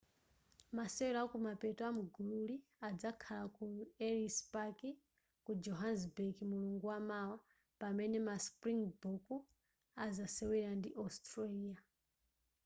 masewera akumapeto amgululi adzakhala ku ellis park ku johannesburg mulungu wamawa pamene ma springbok azasewera ndi australia